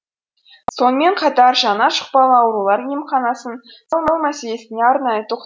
сонымен қатар жаңа жұқпалы аурулар емханасын салу мәселесіне арнайы